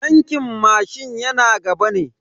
Tankin mashin yana gaba ne.